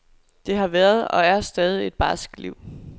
Det har været, og er stadig, et barsk liv.